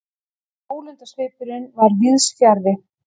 Ólundarsvipurinn var víðs fjarri.